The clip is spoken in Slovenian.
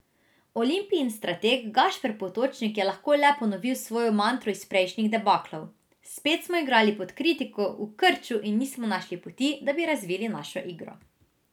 Olimpijin strateg Gašper Potočnik je lahko le ponovil svojo mantro iz prejšnjih debaklov: 'Spet smo igrali pod kritiko, v krču in nismo našli poti, da bi razvili našo igro.